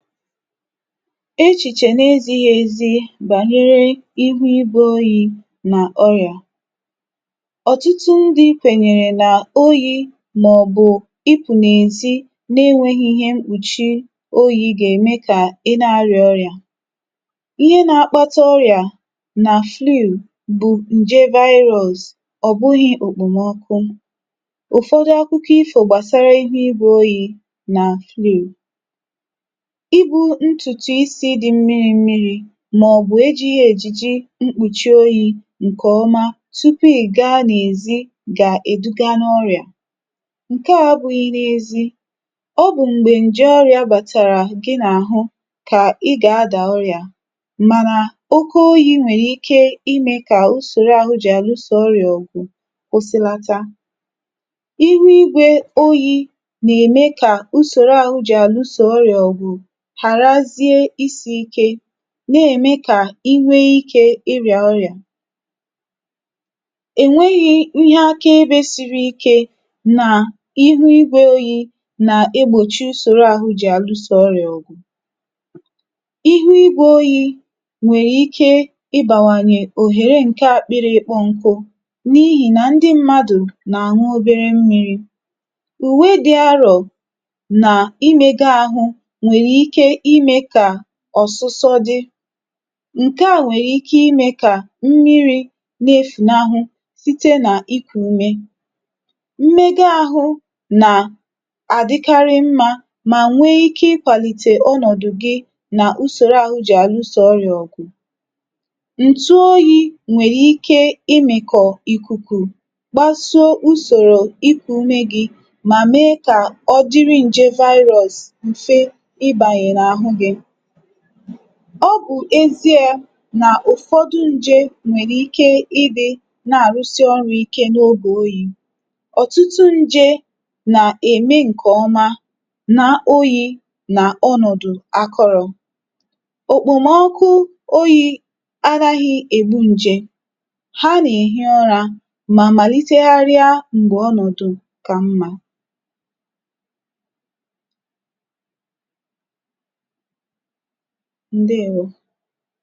echìchè na ezīghi ezi nà ihu igwē oyi nà ọyà. ọ̀tụtụ ndị̄ kwẹ̀nyẹ̀rẹ̀ nà oyī mà ọ̀ bụ̀ ịpụ̀ n’èzi, na ẹnwẹghị ịhẹ mkpùchi oyī gà ème kà ị na arịa ọrị̀à. ihe na akpata ọrị̀à nà flu bụ̀ ǹje virus, ọ̀ bụghị òkpòmọkụ. ụ̀fọdụ akụkọ ifò gbàsara ihu igwē oyī nà flu. ibū ntùtù isī dị mmirī mmirī mà ọ̀ bụ̀ e jighi èjìji mkpùchi oyī ǹkẹ̀ ọma, tupù ị̀ ga n’èzi gà èduga n’ọrị̀à. ǹkẹ à abụghị n’ezī, ọ bụ̀ m̀gbẹ̀ ǹjẹ ọrịā bàtàrà gị n’àhụ kà ị gà adà ọrị̀à, mànà oke oyī nwẹ̀rẹ̀ ike ịmẹ kà usòro ahụ jì ànusò ọrị̀à ògụ̀ kwụsịlata. ihu igwē oyī nà ème kà usòro ahụ jì àlusò ọrị̀à hàràzie isī ike, nà ème kà inwe ikē ị rị̀à ọrị̀à. è nweghi ihe aka ebē siri ike nà ihu igwē oyī nà egbòchi usòro ahụ jì àlusò ọrị̀à ọ̀gụ̀. ihu igwē oyī nwẹ̀rẹ̀ ike ibàwànyè òhère ahụ jì àluso ọrịa ọ̀gụ̀. ihu igwē oyī nwẹ̀rẹ̀ ike ị bàwànyẹ̀ òhère nkẹ akpịrị ịkpọ̄ nkụ, n’ihì nà ndị mmadù nà ànwụ obere mmīri. ùwe dị arọ̀ nà imego ahụ nwẹ̀rẹ̀ ike ịmē kà ọ̀sụsọ dị. ǹkẹ à nwèrè ike I mē kà mmirī na efùnahụ site nà ikù ùme. mmẹgo ahụ nà àdịkarị mmā, mà nwẹ ike ị kwàlìtè ọnọ̀dụ̀ gị, nà usòrò ọrịā jì àluso ọrịà ọ̀gụ̀. ǹtu oyī nwẹ̀rẹ̀̀ ike ị mị̀kọ̀ ìkùkù, gbaso usòrò ikù ume gị, mà me kà ọ dịrị nje virus m̀fe ị bànyè n’àhụ gị. ọ bụ̀ ezie nà ụ̀fọdụ nje nwèrè ike ịdị̄ nà àrụsị ọrụ̄ ike n’ogè oyī. ọ̀tụtụ nje nà ème ǹkè ọma na oyī nao ̣nọ̀dụ̀ akọrọ̄. òkpòmọkụ oyī anaghị ègbu ǹje. ha nà èhi urā, mà màlitegharịa m̀gbè ọnọ̀dụ̀ kà mmā. ndeèwo.